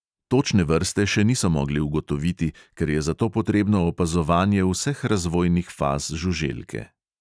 Točne vrste še niso mogli ugotoviti, ker je za to potrebno opazovanje vseh razvojnih faz žuželke.